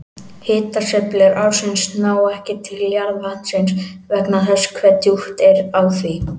Hitasveiflur ársins ná ekki til jarðvatnsins vegna þess hve djúpt er á því.